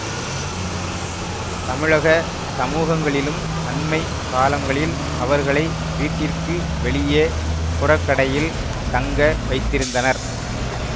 தமிழக சமூகங்களிலும் அண்மை காலங்களில் அவர்களை வீட்டிற்கு வெளியே புறக்கடையில் தங்க வைத்திருந்தனர்